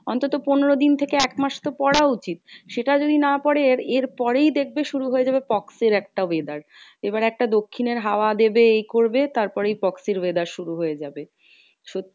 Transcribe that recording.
অন্তত পনেরো দিন থেকে তো একমাস তো পড়া উচিত। সেটা যদি না পরে এর পরেই দেখবে শুরু হয়ে যাবে pox এর একটা weather. এবার একটা দক্ষিণের হাওয়া দেবে ই করবে তারপরেই pox এর weather শুরু হয়ে যাবে। সত্যি